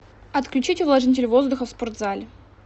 отключить увлажнитель воздуха в спортзале